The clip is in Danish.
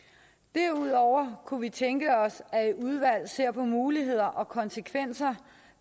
derudover kunne vi tænke os at et udvalg ser på muligheder og konsekvenser